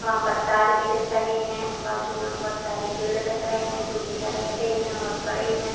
वहाँ पर तार भी दिख रहे है बाजु में बोहोत सारे पेड़ दिख रहे है। जो की हरे-हरे है और बड़े है।